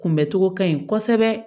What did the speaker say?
Kunbɛcogo ka ɲi kosɛbɛ